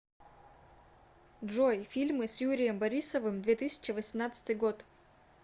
джой фильмы с юрием борисовым две тысячи восемнадцатый год